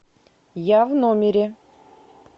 я в номере